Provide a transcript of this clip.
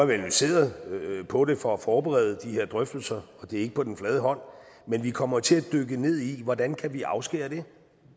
vi analyseret på det for at forberede de her drøftelser og det ligger ikke på den flade hånd men vi kommer til at dykke ned i hvordan vi kan afskære det